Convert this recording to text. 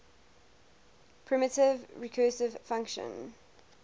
primitive recursive function